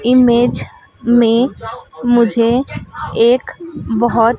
image में मुझे एक बहोत--